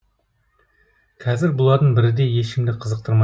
қазір бұлардың бірі де ешкімді қызықтырмай